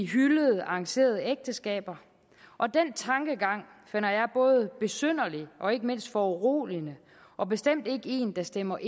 hyldede arrangerede ægteskaber og den tankegang finder jeg både besynderlig og ikke mindst foruroligende og bestemt ikke en der stemmer